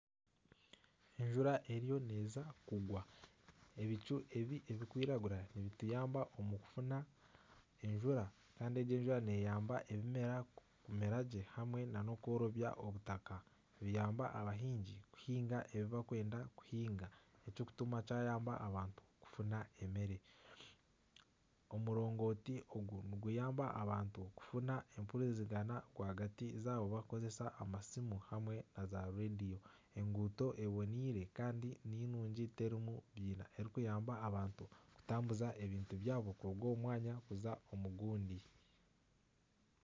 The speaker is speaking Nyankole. Enjura eriyo neza kugwa. Ebicu ebi ebirikwiragura nibituyamba omu kufuna enjura. Kandi egi enjura neyamba ebimera kumera gye hamwe na na okworobya obutaka, biyamba abahingi kuhinga ebi barikwenda kuhinga ekikutuma kyayamba abantu kufuna emere. Omurongooti ogu niguyamba abantu kufuna empurizigana rwagati yabo barikukozesa amasimu hamwe na zarediyo. Enguuto eboneire kandi ninungi terimu biina ekirikuyamba abantu kutambuza ebintu byabo kuruga omu mwanya kuza omu gundi.